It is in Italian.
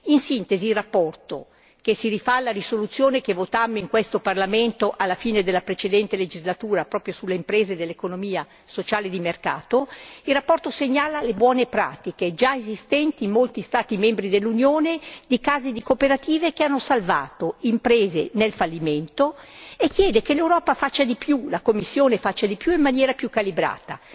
In sintesi la relazione che si rifà alla risoluzione che votammo in questo Parlamento alla fine della precedente legislatura, proprio sulle imprese dell'economia sociale e di mercato, segnala le buone pratiche già esistenti in molti Stati membri dell'Unione di casi di cooperative che hanno salvato imprese dal fallimento e chiede che l'Europa faccia di più, la Commissione faccia di più e in maniera più calibrata.